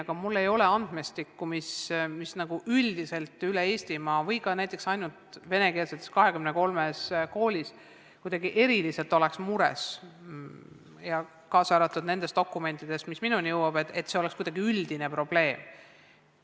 Samas ei ole mul andmestikku, mille pärast üldiselt üle Eesti või ka näiteks ainult 23 venekeelses koolis kuidagi eriliselt mures ollakse, ega ole minuni jõudnud ka dokumente, mis näitaks, et see oleks kuidagi üldine probleem.